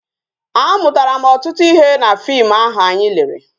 A mụtara m ọtụtụ ihe na fim ahụ anyị lere